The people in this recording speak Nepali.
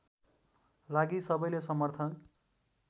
लागि सबैले समर्थन